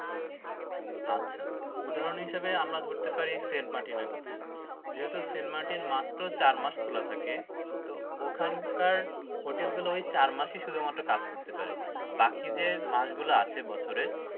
আচ্ছা উদাহরণ হিসেবে আমরা ধরতে পারি সেন্ট মার্টিনএর কথা যেহেতু সেন্ট মার্টিন মাত্র চার মাস খোলা থাকে তো ওখানকার হোটেল গুলা ওই চার মাস ই মাত্র কাজ করতে পারে বাকি যে মাসগুলা আছে বছরের